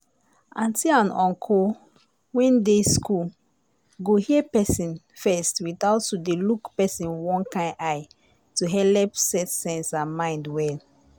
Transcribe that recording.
auntie and uncle when dey school go hear persin first without to dey look person one kind eye to helep set sense and mind well.